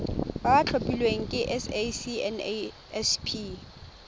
ba ba tlhophilweng ke sacnasp